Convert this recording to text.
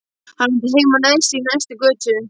Hann átti heima neðst í næstu götu.